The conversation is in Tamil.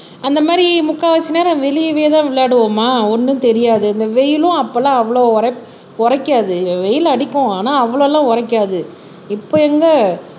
அந்த மாதிரி முக்காவாசி நேரம் வெளியவே தான் விளையாடுவோமா ஒண்ணும் தெரியாது இந்த வெயிலும் அப்பெல்லாம் அவ்ளோ உரைப் உரைக்காது வெயில்ல அடிக்கும் ஆனா அவ்ளோ எல்லாம் உரைக்காது இப்ப எங்க